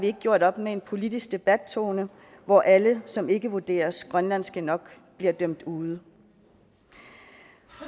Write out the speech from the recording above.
har gjort op med en politisk debattone hvor alle som ikke vurderes grønlandske nok bliver dømt ude